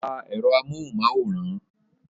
Pa èrò amóhunmáwòrán!